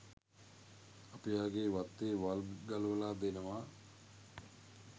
අපි එයාගේ වත්තේ වල් ගලවලා දෙනවා